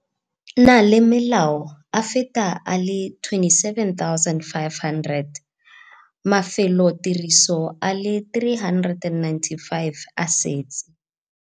na le malao a feta a le 27 500. Mafelotiriso a le 395 a setse